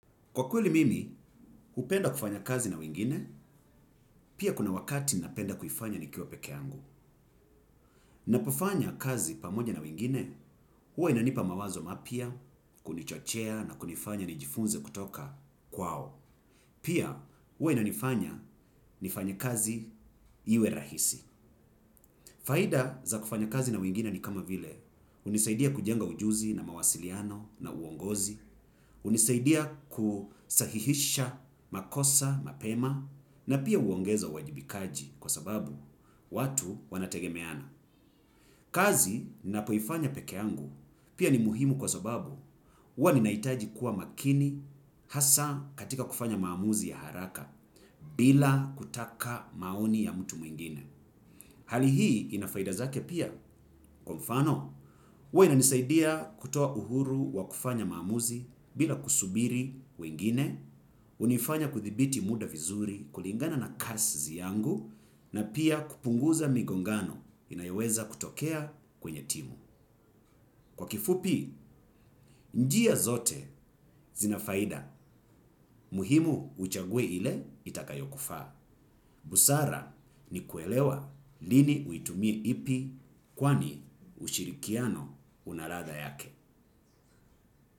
Kwa kweli mimi, hupenda kufanya kazi na wengine, pia kuna wakati napenda kuifanya nikiwa peke angu. Napofanya kazi pamoja na wengine hua inanipa mawazo mapya kunichochea na kunifanya nijifunze kutoka kwao. Pia, huwa inanifanya nifanye kazi iwe rahisi. Faida za kufanya kazi na wengine ni kama vile, hunisaidia kujenga ujuzi na mawasiliano na uongozi, hunisaidia kusahihisha makosa, mapema na pia huongeza uwajibikaji kwa sababu watu wanategemeana. Kazi ninapoifanya pekeangu pia ni muhimu kwa sababu huwa ninahitaji kuwa makini hasa katika kufanya maamuzi ya haraka bila kutaka maoni ya mtu mwingine. Hali hii inafaida zake pia kwa mfano, huwa inanisaidia kutoa uhuru wa kufanya maamuzi bila kusubiri wengine, hunifanya kuthibiti muda vizuri kulingana na kaszi yangu, na pia kupunguza migongano inayoweza kutokea kwenye timu. Kwa kifupi, njia zote zinafaida, muhimu uchague ile itakayo kufaa. Busara ni kuelewa lini uitumie ipi kwani ushirikiano unaladha yake.